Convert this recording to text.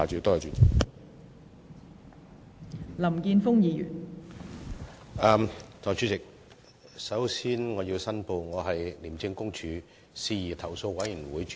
代理主席，首先我要申報，我是廉政公署事宜投訴委員會主席。